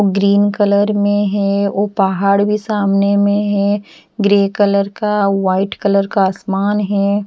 Green colour में है वो पहाड़ भी सामने में है ग्रे कलर का वाइट कलर का आसमान है।